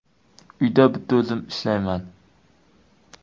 Uyda bitta o‘zim ishlayman.